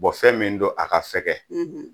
fɛn min don a ka fɛgɛ